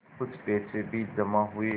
कुछ पैसे भी जमा हुए